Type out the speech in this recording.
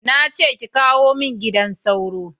Na ce ki kawo mun gidan sauro